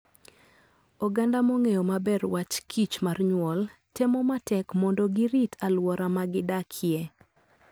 Oganda mong'eyo maber wach kichmar nyuol, temo matek mondo girit alwora ma gidakie.